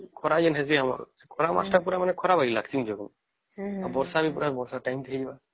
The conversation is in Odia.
ଖରା ଯେନ ହଉଛେ ଖରା ମାସ ତା ପୁରା ଖରା ବାଜିଲା ଆମଥି ଆଉ ବର୍ଷା ମାସ ତା ପୁରା ବର୍ଷା